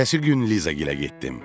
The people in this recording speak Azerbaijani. Ertəsi gün Lizagilə getdim.